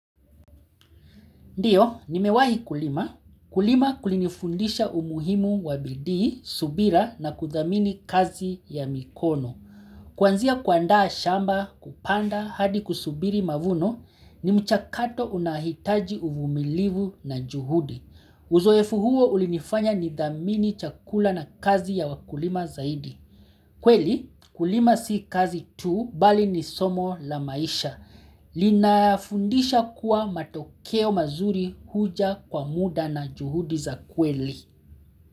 Ndiyo, nimewai kulima. Kulima kulinifundisha umuhimu wabidii, subira na kudhamini kazi ya mikono. Kwanzia kuandaa shamba kupanda hadi kusubiri mavuno ni mchakato unahitaji uvumilivu na juhudi. Uzoefu huo ulinifanya nidhamini chakula na kazi ya wakulima zaidi. Kweli, kulima si kazi tu bali ni somo la maisha. Lina fundisha kuwa matokeo mazuri huja kwa muda na juhudi za kweli.